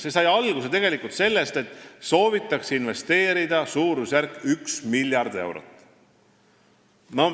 See kõik sai alguse tegelikult sellest, et sooviti investeerida suurusjärgus üks miljard eurot.